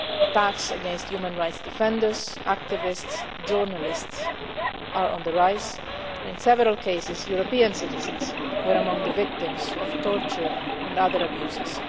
Attacks against human rights defenders, activists and journalists are on the rise and in several cases European citizens were among the victims of torture and other abuses.